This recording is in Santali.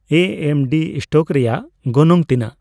ᱮ ᱮᱢ ᱰᱤ ᱤᱥᱴᱳᱠ ᱨᱮᱭᱟᱜ ᱜᱚᱱᱚᱝ ᱛᱤᱱᱟᱹᱜ